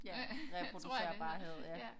Ja reproducerbarhed ja